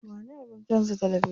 Ba ni abin canza talabijin.